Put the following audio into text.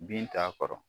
Bin t'a kɔrɔ